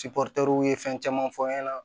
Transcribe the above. u ye fɛn caman fɔ n ɲɛna